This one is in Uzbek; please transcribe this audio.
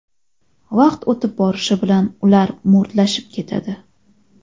Vaqt o‘tib borishi bilan ular mo‘rtlashib ketadi.